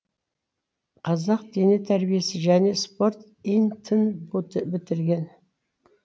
қазақ дене тәрбиесі және спорт ин тын бітірген